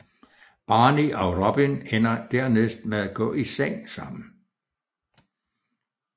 Barney og Robin ender dernæst med at gå i seng sammen